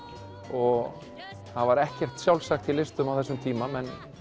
og það var ekkert sjálfsagt í listum á þessum tíma